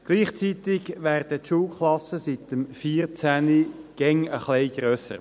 Gleichzeitig werden die Schulklassen seit 2014 immer ein bisschen grösser.